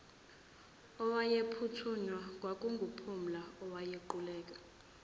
owayephuthunywa kwakunguphumla owaquleka